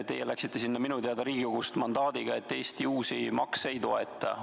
Teie läksite sinna minu teada Riigikogust mandaadiga, et Eesti uusi makse ei toeta.